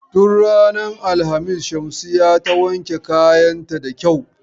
Tun ranar alhamis Shamsiyya ta wanke kayan ta da kyau.